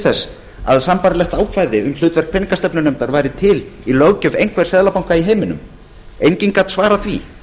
þess að sambærilegt ákvæði um hlutverk peningastefnunefndar væri til í löggjöf einhvers seðlabanka í heiminum enginn gat svarað því